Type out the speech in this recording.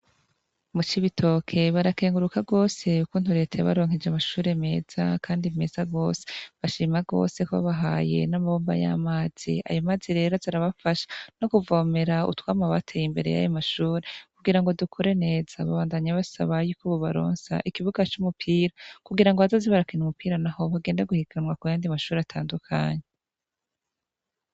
Mucibitoke barakenguruka gose ukuntu reta yabaronkeje amashure meza kandi meza gose bashima gose ko babahaye n'amabomba y'amazi. Ayamazi rero azarabafasha no kuvomera utwama bateye imbere y'ayomashure kugirango dukure neza. Babandanya basaba yuko bobaronsa ikibuga c'umupira kugirango bazoze barakina umupira naho bagenda guhiganwa kuyandi mashure atandukanye.